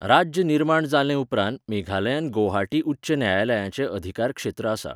राज्य निर्माण जाले उपरांत मेघालयांत गौहाटी उच्च न्यायालयाचें अधिकारक्षेत्र आसा.